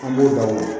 An b'o da o la